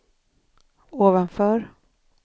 ovanför